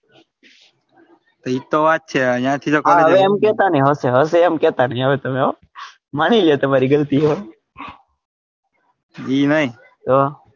એજ તો વાત છે અહીંયા થી માની ગયો તમારી ગલતી હોય એ નઈ તો.